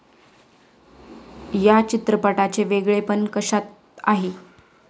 या चित्रपटाचे वेगळेपण कशात आहे?